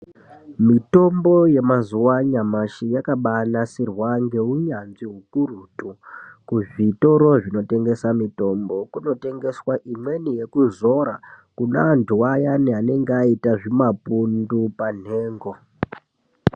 Mitombo yemazuwa anyamashi yakabagadzirwa ngeunyanzvi ukurutu kuzvitoro zvinotengesa mitombo kunotengeswe imweni yekuzora kune antu ayani anenge aita zvimapundu panhengo.